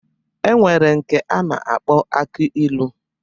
E nwere nke a na-akpọ aki ilu.